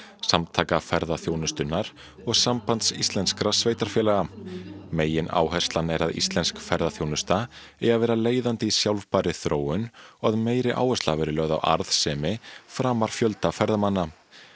Samtaka ferðaþjónustunnar og Sambands íslenskra sveitarfélaga megináherslan er að íslensk ferðaþjónusta eigi að vera leiðandi í sjálfbærri þróun og að meiri áhersla verði lögð á arðsemi framar fjölda ferðamanna